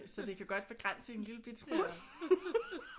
Så det kan godt begrænse en lille bitte smule